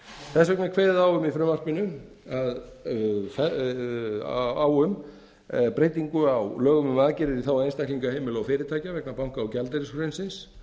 þess vegna er kveðið á um breytingu á lögum um aðgerðir í þágu einstaklinga heimila og fyrirtækja vegna banka og gjaldeyrishrunsins